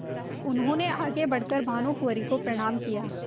उन्होंने आगे बढ़ कर भानुकुँवरि को प्रणाम किया